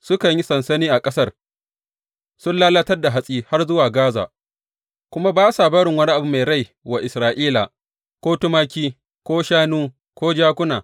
Sukan yi sansani a ƙasar sun lalatar da hatsi har zuwa Gaza kuma ba sa barin wani abu mai rai wa Isra’ila, ko tumaki ko shanu ko jakuna.